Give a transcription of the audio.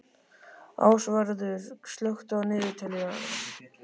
Ásvarður, slökktu á niðurteljaranum.